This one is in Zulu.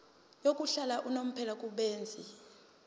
yokuhlala unomphela kubenzi